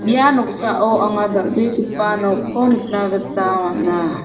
ia noksao anga dal·begipa nokko nikna gita man·a.